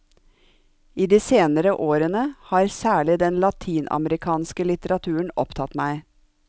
I de senere årene har særlig den latinamerikanske litteraturen opptatt meg.